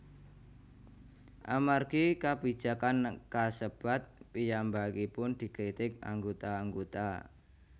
Amargi kabijakan kasebat piyambakipun dikritik anggota anggota